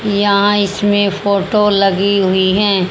यहां इसमें फोटो लगी हुई है।